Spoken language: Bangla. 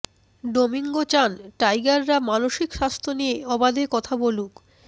ডোমিঙ্গো চান টাইগাররা মানসিক স্বাস্থ্য নিয়ে অবাধে কথা বলুক